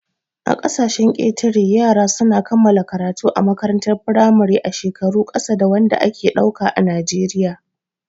A ƙasashen ƙetare, yara su na kammala karatu a makarantar firamare a shekaru ƙasa da wanda ake ɗauka a najeriya